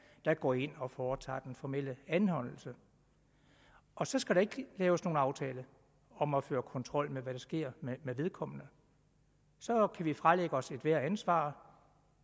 der går ind og foretager den formelle anholdelse og så skal der ikke laves nogen aftale om at føre kontrol med hvad der sker med vedkommende så kan vi fralægge os ethvert ansvar